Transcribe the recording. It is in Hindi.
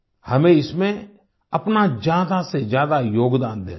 हमें इसमें अपना ज्यादा से ज्यादा योगदान देना है